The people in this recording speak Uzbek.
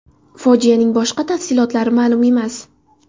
Fojianing boshqa tafsilotlari ma’lum emas.